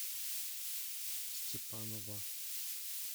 степанова